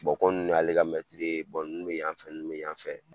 kɔ nn ne ale ka mɛtiri ye nn be yan fɛ nn be yan fɛ.